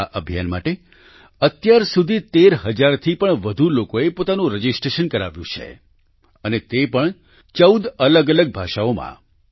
આ અભિયાન માટે અત્યાર સુધી 13 હજાર થી પણ વધુ લોકોએ પોતાનું રજિસ્ટ્રેશન કરાવ્યું છે અને તે પણ 14 અલગઅલગ ભાષાઓમાં